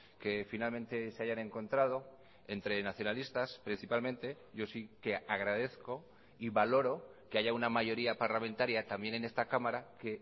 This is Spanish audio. que finalmente se hayan encontrado entre nacionalistas principalmente yo sí que agradezco y valoro que haya una mayoría parlamentaria también en esta cámara que